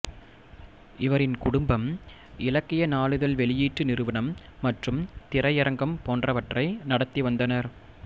இவரின் குடும்பம் இலக்கிய நாளிதழ் வெளியீட்டு நிறுவனம் மற்றும் திரையரங்கம் போன்றவற்றை நடத்தி வந்தனர்